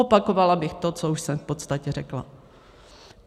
Opakovala bych to, co už jsem v podstatě řekla.